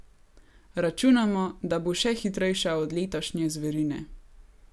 Računamo, da bo še hitrejša od letošnje zverine.